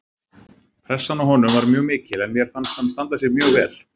Pressan á honum var mjög mikil en mér fannst hann standa sig mjög vel